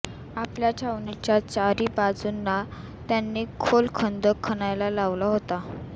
आपल्या छावणीच्या चारी बाजूंना त्यांनी खोल खंदक खणायला लावला होता